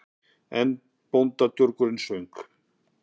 Einn bóndadurgurinn söng